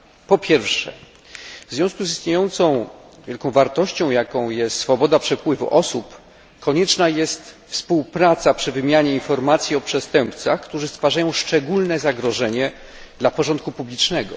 Po pierwsze, w związku z istniejącą wielką wartością, jaką jest swoboda przepływu osób, konieczna jest współpraca przy wymianie informacji o przestępcach, którzy stwarzają szczególne zagrożenie dla porządku publicznego.